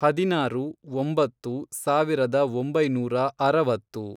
ಹದಿನಾರು, ಒಂಬತ್ತು, ಸಾವಿರದ ಒಂಬೈನೂರ ಅರವತ್ತು